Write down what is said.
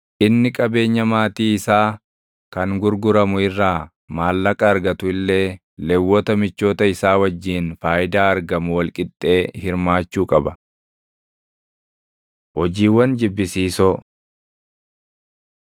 Inni qabeenya maatii isaa kan gurguramu irraa maallaqa argatu illee Lewwota michoota isaa wajjin faayidaa argamu wal qixxee hirmaachuu qaba. Hojiiwwan Jibbisiisoo